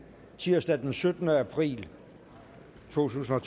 tirsdag den syttende april totusinde